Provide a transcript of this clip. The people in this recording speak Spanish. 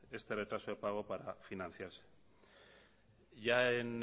este retraso de pago para financiarse ya en